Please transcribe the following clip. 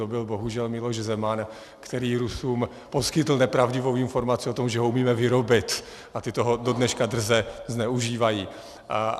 To byl bohužel Miloš Zeman, který Rusům poskytl nepravdivou informaci o tom, že ho umíme vyrobit, a ti toho dodneška drze zneužívají.